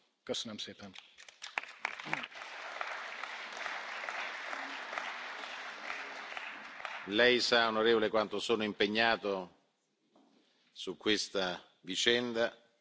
Lei sa, onorevole, quanto sono impegnato su questa vicenda, sono stato talmente duro che ho ricevuto anche qualche protesta ufficiale da parte del